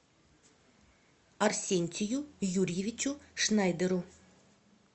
арсентию юрьевичу шнайдеру